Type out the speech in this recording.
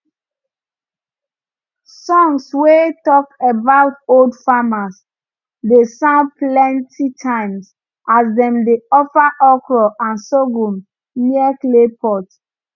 songs wey talk about old farmers dey sound plenty times as dem dey offer okra and sorghum near clay pot